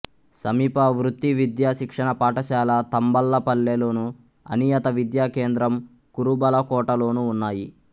సమీప వృత్తి విద్యా శిక్షణ పాఠశాల తంబళ్లపల్లె లోను అనియత విద్యా కేంద్రం కురుబలకోట లోను ఉన్నాయి